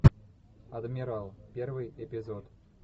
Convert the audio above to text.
адмирал первый эпизод